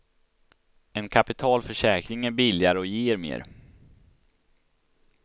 En kapitalförsäkring är billigare och ger mer.